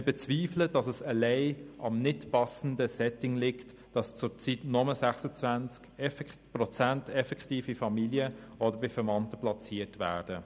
Wir bezweifeln, dass es allein am nicht passenden Setting liegt, dass zurzeit nur 26 Prozent effektiv bei Familien oder Verwandten platziert sind.